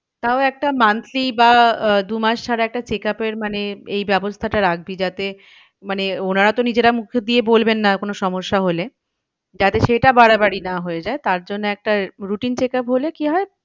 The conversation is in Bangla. তাও একটা monthly বা আহ দু মাস ছাড়া একটা check up এর মানে এই ব্যবস্থাটা রাখবি যাতে মানে ওনারা তো নিজেরা মুখ দিয়ে বলবেন না কোনো সমস্যা হলে। যাতে সেটা বাড়াবাড়ি না হয়ে যায় তারজন্য একটা routine check up হলে কি হয়